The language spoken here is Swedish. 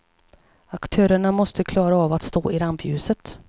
Aktörerna måste klara av att stå i rampljuset.